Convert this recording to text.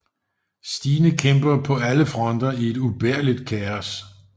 Stine kæmper på alle fronter i et ubærligt kaos